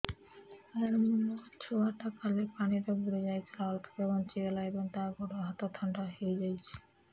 ସାର ମୋ ଛୁଆ ଟା କାଲି ପାଣି ରେ ବୁଡି ଯାଇଥିଲା ଅଳ୍ପ କି ବଞ୍ଚି ଗଲା ଏବେ ତା ଗୋଡ଼ ହାତ ଥଣ୍ଡା ହେଇଯାଉଛି